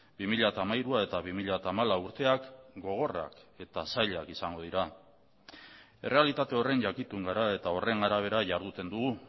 bi mila hamairu eta bi mila hamalau urteak gogorrak eta zailak izango dira errealitate horren jakitun gara eta horren arabera jarduten dugu